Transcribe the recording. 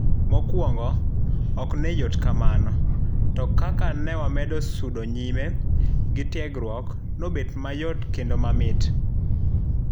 Mokwongo, ok noyot kamano, to kaka ne wamedo sudo nyime gitiegruok, nobet mayot kendo mamit.